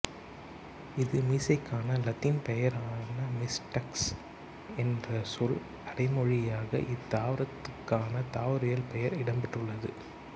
இது மீசைக்கான லத்தீன் பெயரான மிஸ்டாக்ஸ் என்ற சொல் அடைமொழியாக இத்தாவரத்துக்கான தாவரவியல் பெயரில் இடம்பெற்றுள்ளது